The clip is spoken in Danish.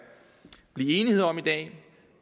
blive enighed om i dag